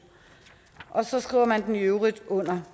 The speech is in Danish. og så skriver man den i øvrigt under